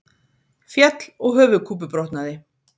Féll og höfuðkúpubrotnaði